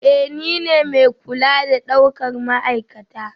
Ee, nine mai kula da daukar ma'aikata